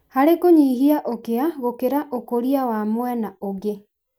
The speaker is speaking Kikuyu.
harĩ kũnyihia ũkĩa gũkĩra ũkũria wa mwena ũngĩ.